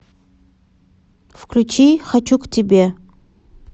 включи хочу к тебе